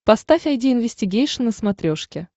поставь айди инвестигейшн на смотрешке